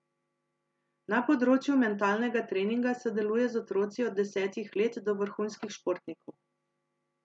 Na področju mentalnega treninga sodeluje z otroci od desetih let do vrhunskih športnikov.